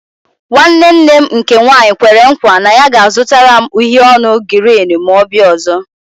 Nwanne nne m nke nwaanyị kwere nkwa na ya ga-azụtara m uhiè ọnụ girini ma ọ bịa ọzọ